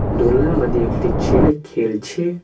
দোলনার মাদ্দে একটি ছেলে খেলছে।